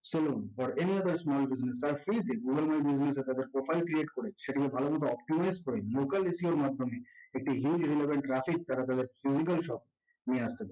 salon or any other small business তার page এ google business analyzer profile create করে সেগুলো ভালোমত optimize করে local SEO এর মাধ্যমে একটি huge relevant traffic তারা তাদের digital shop নিয়ে আসতে পারে